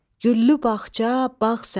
Güllü bağça, bağ sənə.